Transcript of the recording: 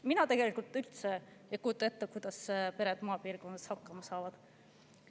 Mina tegelikult üldse ei kujuta ette, kuidas pered maapiirkonnas hakkama saavad.